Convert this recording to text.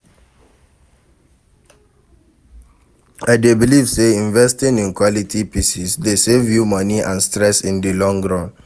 I dey believe say investing in quality pieces dey save you money and stress in di long run.